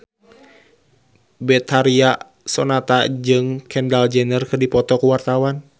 Betharia Sonata jeung Kendall Jenner keur dipoto ku wartawan